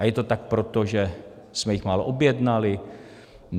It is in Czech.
A je to tak proto, že jsme jich málo objednali?